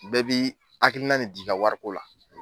Bɛɛ bɛ hakilina ne di i wariko la